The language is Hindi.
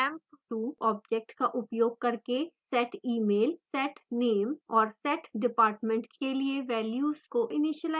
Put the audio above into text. emp2 object का उपयोग करके setemail setname और setdepartment के लिए values को इनीशिलाइज करते हैं